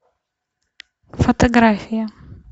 фотография